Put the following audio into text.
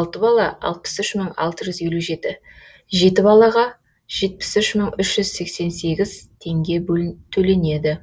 алты бала алпыс үш мың алты жүз елу жеті жеті балаға жетпіс үш мың үш жүз сексен сегіз теңге төленеді